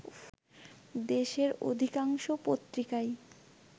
দেশের অধিকাংশ পত্রিকায়